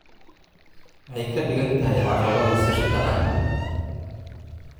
Maxay ka dhigan tahay caqabadda sirta ah?